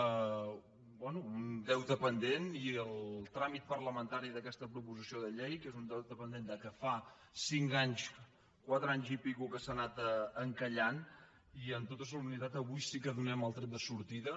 bé un deute pendent i el tràmit parlamentari d’aquesta proposició de llei que és un deute pendent que fa cinc anys quatre anys i escaig que s’ha anat encallant i amb tota solemnitat avui sí que hi donem el tret de sortida